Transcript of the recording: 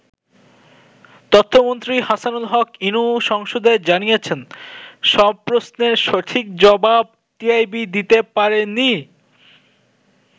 তথ্য মন্ত্রী হাসানুল হক ইনু সংসদে জানিয়েছেন, সব প্রশ্নের সঠিক জবাব টিআইবি দিতে পারে নি।